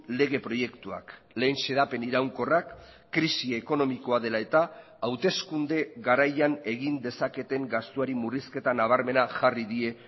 lege proiektuak lehen xedapen iraunkorrak krisi ekonomikoa dela eta hauteskunde garaian egin dezaketen gastuari murrizketa nabarmena jarri die